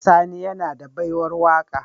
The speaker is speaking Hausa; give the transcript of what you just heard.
Sani yAna da baiwar waka